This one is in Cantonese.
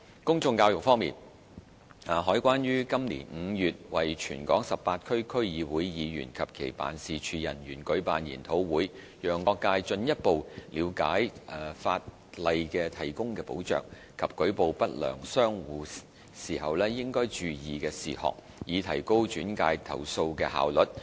公眾教育方面，海關於今年5月為全港18區區議會議員及其辦事處人員舉辦研討會，讓各界進一步了解法例提供的保障及舉報不良商戶時應注意的事項，以提高轉介投訴的效率。